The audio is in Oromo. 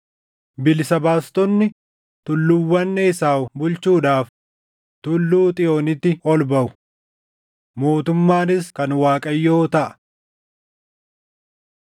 Bilisa baastonni tulluuwwan Esaaw bulchuudhaaf Tulluu Xiyoonitti ol baʼu. Mootummaanis kan Waaqayyoo taʼa.